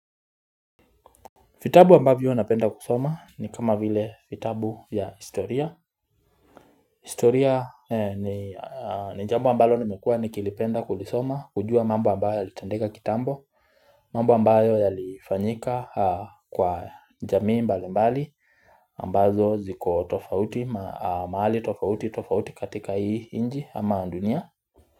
Vitabu ambavyo napenda kusoma ambayo yalifanyika kwa jamii mbalimbali ambazo ziko tofauti maali tofauti katika hii inji ama dunia.